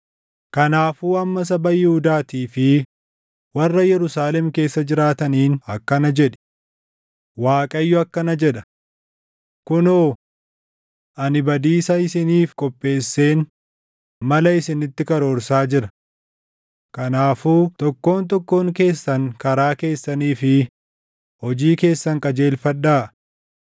“Kanaafuu amma saba Yihuudaatii fi warra Yerusaalem keessa jiraataniin akkana jedhi; ‘ Waaqayyo akkana jedha: Kunoo! Ani badiisa isiniif qopheesseen mala isinitti karoorsaa jira. Kanaafuu tokkoon tokkoon keessan karaa keessanii fi hojii keessan qajeelfadhaa.’